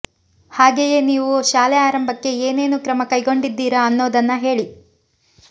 ಹಾಗೆಯೇ ನೀವು ಶಾಲೆ ಆರಂಭಕ್ಕೆ ಏನೇನು ಕ್ರಮ ಕೈಗೊಂಡಿದ್ದೀರಾ ಅನ್ನೋದನ್ನ ಹೇಳಿ